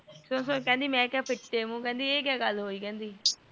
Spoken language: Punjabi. ਕਿਹੰਦੀ ਮੈਂ ਕੀਆ ਫਿਟਟਏ ਮੂੰਹ ਹ ਕੀਆ ਗੱਲ ਹੋਈ